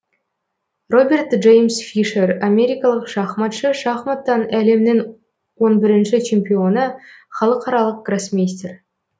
роберт джеймс фишер америкалық шахматшы шахматтан әлемнің он бірінші чемпионы халықаралық гроссмейстер